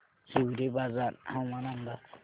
हिवरेबाजार हवामान अंदाज